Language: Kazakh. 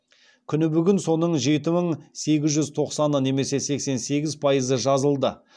күні бүгін соның жеті мың сегіз тоқсаны немесе сексен сегіз пайызы жазылды